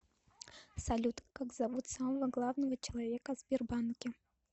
салют как зовут самого главного человека в сбербанке